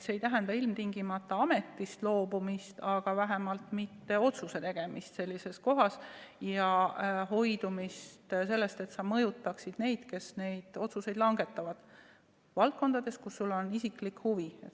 See ei tähenda ilmtingimata ametist loobumist, aga vähemalt otsuse tegemisest loobumist ja hoidumist sellest, et mõjutataks neid, kes otsuseid langetavad valdkondades, kus sul on isiklik huvi.